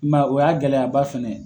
I man ye o y'a gɛlɛyaba fɛnɛ ye.